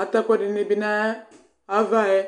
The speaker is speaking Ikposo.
Àtɛ ɛkuɛɖini bi nayii ãvã yɛ